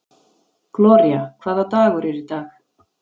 Gloría, hvaða dagur er í dag?